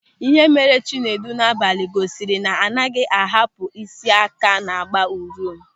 Ịhe mere Chinedu n'abalị gosiri na anaghị ahapụ ị́sị́ áká na-gba ụriom.